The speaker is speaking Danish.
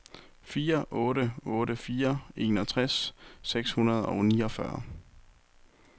fire otte otte fire enogtres seks hundrede og niogfyrre